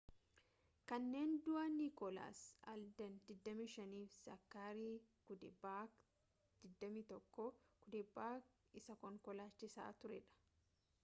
kanneen du'an nikoolaas aalden 25 fi zaakarii cuddeback 21 cuddeback isa konkolaachisaa ture dha